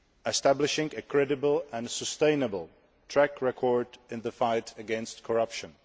establishing a credible and sustainable track record in the fight against corruption